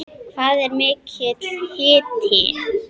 Hvað er mikill hiti?